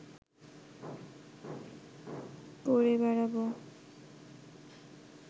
করে বেড়াব